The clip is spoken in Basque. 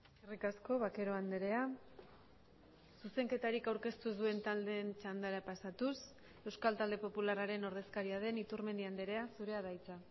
eskerrik asko vaquero andrea zuzenketarik aurkeztu ez duen taldeen txandara pasatuz euskal talde popularraren ordezkaria den iturmendi andrea zurea da hitza